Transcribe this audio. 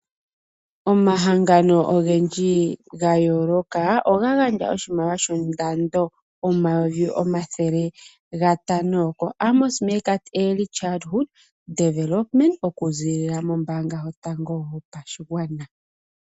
Omahangano ogendji ga yooloka oga gandja oshimaliwa shondando omayovi omathele gatano ko Amos Meerkat Early Childhood Development oku ziilila mombaanga yotango yopashigwana.